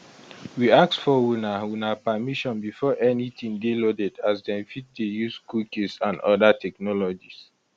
we ask for una for una permission before anytin dey loaded as dem fit dey use cookies and oda technologies